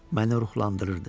Məni ruhlandırırdı.